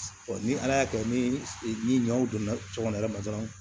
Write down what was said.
ni ala y'a kɛ ni ɲɔw donna so kɔnɔ yɛrɛ ma dɔrɔn